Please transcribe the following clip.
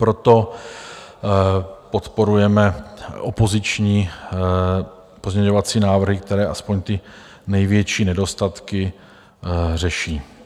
Proto podporujeme opoziční pozměňovací návrhy, které aspoň ty největší nedostatky řeší.